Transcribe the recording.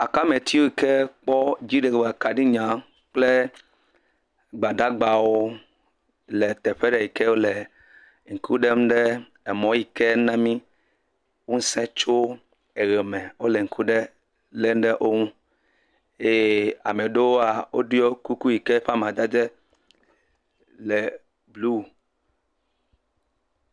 Akameti yiwo ke kpɔ dziɖegbekaɖinya kple Gbadagbawo le teƒe ɖe yi ke wole ŋku ɖem ɖe emɔ̃ɔ̃ yi ke na mí ŋusẽ tso eʋeme. Wole ŋku ɖe lém ɖe wo ŋu eye ame ɖewoa, woɖiɔ kuku yi ke ƒe amadede le bluu.